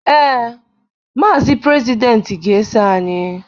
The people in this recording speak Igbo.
Ee, Maazi Prezidenti ga-eso anyị